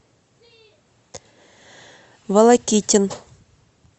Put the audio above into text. волокитин